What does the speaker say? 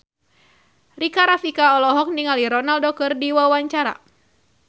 Rika Rafika olohok ningali Ronaldo keur diwawancara